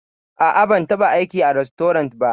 A'a, ban taɓa aiki a rastorant ba.